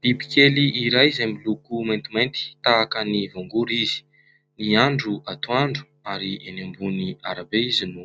Biby kely iray izay miloko maintimainty tahaka ny voangory izy ny andro atoandro ary enỳ ambony arabe izy no